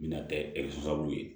Mina tɛ ye